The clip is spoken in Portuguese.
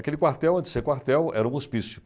Aquele quartel, antes de ser quartel, era um hospício.